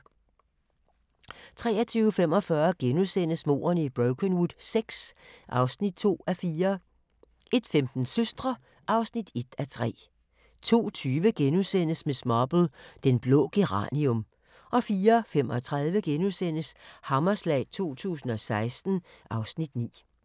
23:45: Mordene i Brokenwood VI (2:4)* 01:15: Søstre (1:3) 02:20: Miss Marple: Den blå geranium * 04:35: Hammerslag 2016 (Afs. 9)*